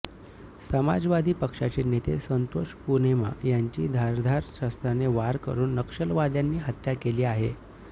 समाजवादी पक्षाचे नेते संतोष पुनेमा यांची धारदार शस्त्राने वार करून नक्षलवाद्यांनी हत्या केली आहे